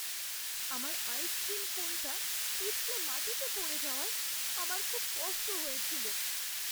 আমার আইসক্রিম কোনটা পিছলে মাটিতে পড়ে যাওয়ায় আমার খুব কষ্ট হয়েছিল।